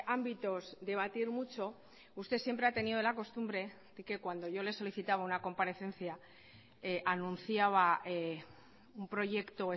ámbitos debatir mucho usted siempre ha tenido la costumbre de que cuando yo le solicitaba una comparecencia anunciaba un proyecto